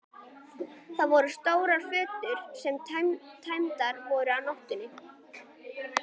Þar voru stórar fötur sem tæmdar voru á nóttinni.